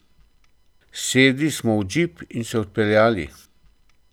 Sedli smo v džip in se odpeljali.